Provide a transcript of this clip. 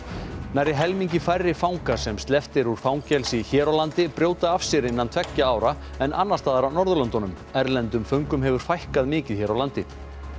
nærri helmingi færri fangar sem sleppt er úr fangelsi hér á landi brjóta af sér innan tveggja ára en annars staðar á Norðurlöndunum erlendum föngum hefur fækkað mikið hér á landi